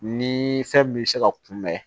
Ni fɛn min bɛ se ka kunbɛn